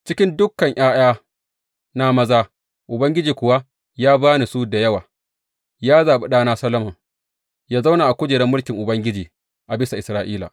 Cikin dukan ’ya’yana maza, Ubangiji kuwa ya ba ni su da yawa, ya zaɓi ɗana Solomon yă zauna a kujerar mulkin Ubangiji a bisa Isra’ila.